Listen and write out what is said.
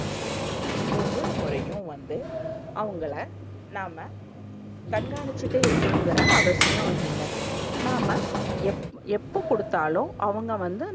ஒவ்வொரு முறையும் வந்து அவங்கள நாம்ம கண்கானிச்சுட்டே இருக்கனும்ற அவசியம் இல்ல, நாம்ம எப் எப்போ குடுத்தாலும் அவங்க வந்து,